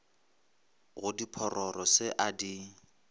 go diphororo se a di